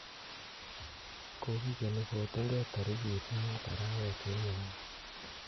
Kokigeni kotunge tarikiit muut arawet nenyone